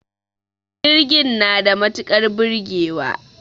Jirgin na da matukar burgewa